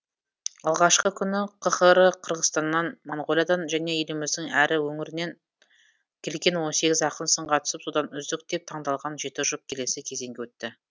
алғашқы күні қхр қырғызстаннан моңғолиядан және еліміздің әр өңірінен келген он сегіз ақын сынға түсіп содан үздік деп таңдалған жеті жұп келесі кезеңге өтті